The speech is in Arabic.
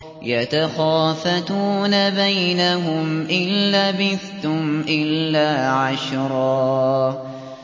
يَتَخَافَتُونَ بَيْنَهُمْ إِن لَّبِثْتُمْ إِلَّا عَشْرًا